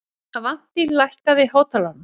Avantí, lækkaðu í hátalaranum.